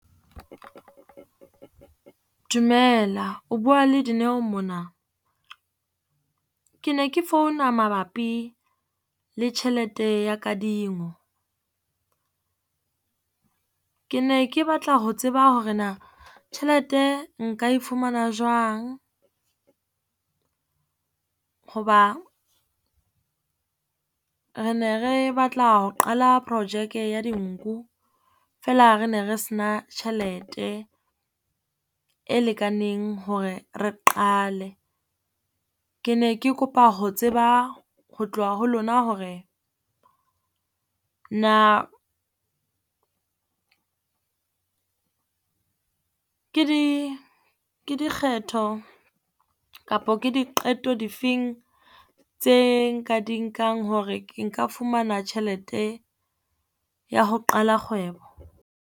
Dumela o bua le Dineo mona. Ke ne ke founa mabapi le tjhelete ya kadingo, ke ne ke batla ho tseba hore na tjhelete nka e fumana jwang, hoba re ne re batla ho qala projeke ya dinku feela re ne re sena tjhelete e lekaneng hore re qale. Ke ne ke kopa ho tseba ho tloha ho lona hore na ke di, ke dikgetho kapa ke diqeto difeng tse nka di nkang hore ke nka fumana tjhelete ya ho qala kgwebo.